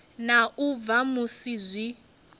na u bva musi zwi